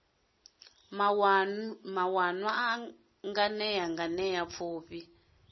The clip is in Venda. maṋwalwa a nganea nganea pfufhi